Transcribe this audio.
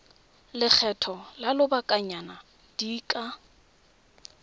lekgetho la lobakanyana di ka